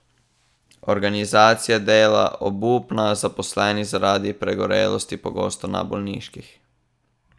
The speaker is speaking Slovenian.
Organizacija dela obupna, zaposleni zaradi pregorelosti pogosto na bolniških ...